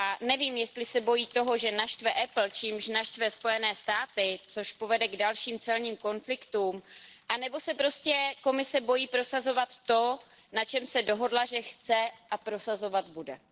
Nevím, jestli se bojí toho, že naštve Apple, čímž naštve USA, což povede k dalším celním konfliktům, nebo se prostě Komise bojí prosazovat to, na čem se dohodla, že chce a prosazovat bude.